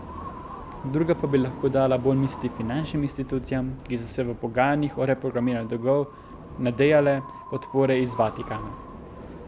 Druga pa bi lahko dala bolj misliti finančnim institucijam, ki so se v pogajanjih o reprogramiranju dolgov nadejale podpore iz Vatikana.